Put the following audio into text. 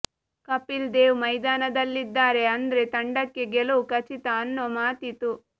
ಕಪಿಲ್ ದೇವ್ ಮೈದಾನದಲ್ಲಿದ್ದಾರೆ ಅಂದ್ರೆ ತಂಡಕ್ಕೆ ಗೆಲುವು ಖಚಿತ ಅನ್ನೋ ಮಾತಿತ್ತು